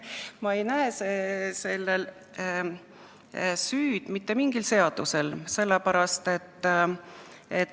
Ma ei näe siin süüd mitte mingil seadusel.